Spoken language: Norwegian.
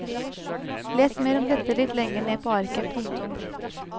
Les mer om dette litt lenger ned på arket. punktum